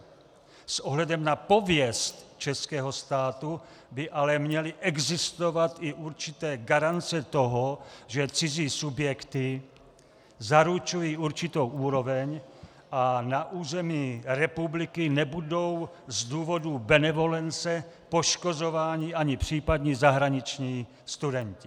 S ohledem na pověst českého státu by ale měly existovat i určité garance toho, že cizí subjekty zaručují určitou úroveň a na území republiky nebudou z důvodů benevolence poškozováni ani případní zahraniční studenti.